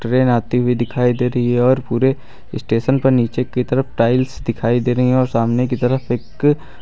train आती हुई दिखाई दे रही है और पूरे स्टेशन पर नीचे की तरफ टाइल्स दिखाई दे रही है और सामने की तरफ एक--